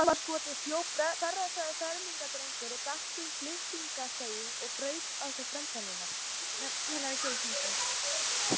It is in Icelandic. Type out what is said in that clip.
Út úr skúmaskoti hljóp berrassaður fermingardrengur, datt um Filippseying og braut í sér framtennurnar.